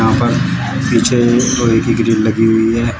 यहां पर पीछे लोहे की ग्रिल लगी हुई है।